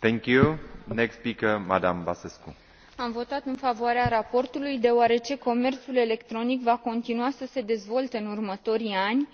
Mulțumesc, domnule președinte. Am votat în favoarea raportului, deoarece comerțul electronic va continua să se dezvolte în următorii ani.